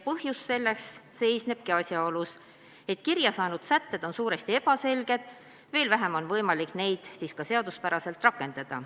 Ja selle põhjus seisneb asjaolus, et kirja saanud sätted on suuresti ebaselged, veel vähem on võimalik neid seaduspäraselt rakendada.